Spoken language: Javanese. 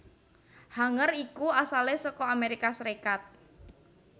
Hanger iku asalé saka Amérika Sarékat